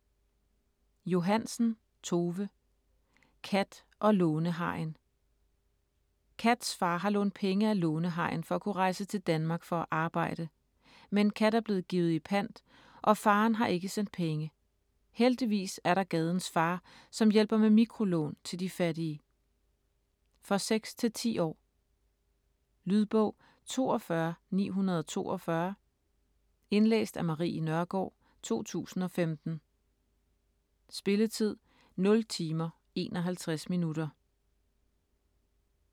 Johansen, Tove: Kat & lånehajen Kats far har lånt penge af lånehajen for at kunne rejse til Danmark for at arbejde. Men Kat er blevet givet i pant, og faderen har ikke sendt penge. Heldigvis er der Gadens far, som hjælper med mikrolån til de fattige. For 6-10 år. Lydbog 42942 Indlæst af Marie Nørgaard, 2015. Spilletid: 0 timer, 51 minutter.